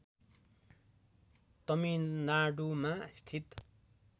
तमिलनाडुमा स्थित